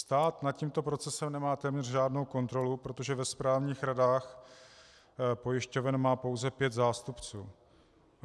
Stát nad tímto procesem nemá téměř žádnou kontrolu, protože ve správních radách pojišťoven má pouze pět zástupců.